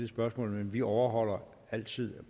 spørgsmål men vi overholder altid